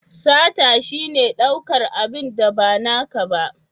Sata shine daukar abin da ba naka ba.